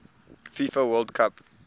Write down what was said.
fifa world cup